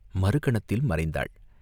மறு கணத்தில் மறைந்தாள்.